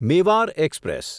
Mewar express